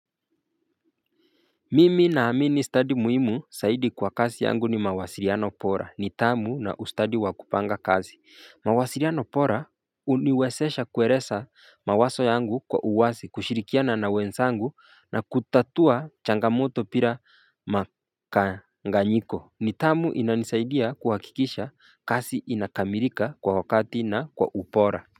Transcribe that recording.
Mimi na amini study muhimu saidi kwa kasi yangu ni mawasiriano pora nitamu na ustadi wa kupanga kazi mawasiriano pora uniwesesha kueresa mawaso yangu kwa uwazi kushirikiana na wensangu na kutatua changamoto pira makanganyiko nitamu inanisaidia kuhakikisha kasi inakamirika kwa wakati na kwa upora.